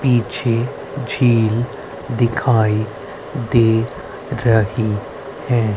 पीछे झील दिखाई दे रही है।